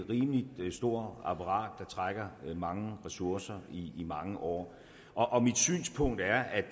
rimelig stort apparat der trækker mange ressourcer i mange år og mit synspunkt er at